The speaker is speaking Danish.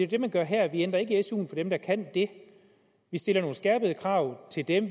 det vi gør her vi ændrer ikke su for dem der kan det vi stiller nogle skærpede krav til dem